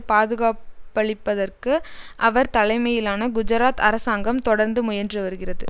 பாதுகாப்பளிப்பதற்கு அவர் தலைமையிலான குஜராத் அரசாங்கம் தொடர்ந்து முயன்று வருகிறது